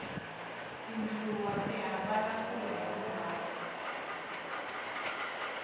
tindluwa ti hambana kuya hi ndhawu